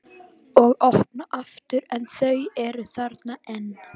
Og opna aftur en þau eru þarna enn.